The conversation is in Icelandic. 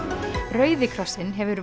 rauði krossinn hefur